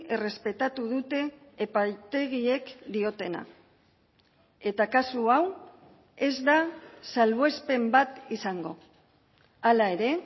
errespetatu dute epaitegiek diotena eta kasu hau ez da salbuespen bat izango hala ere